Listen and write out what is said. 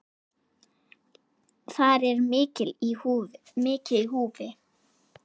Þar er mikið í húfi.